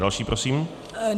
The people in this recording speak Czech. Další prosím.